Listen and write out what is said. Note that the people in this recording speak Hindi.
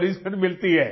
पनिशमेंट मिलती है